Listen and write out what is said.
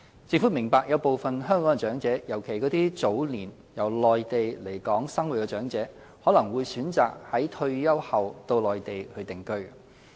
政府明白有部分香港長者，尤其那些早年由內地來港生活的長者，可能會選擇在退休後到內地定居。